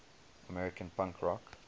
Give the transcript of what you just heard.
american punk rock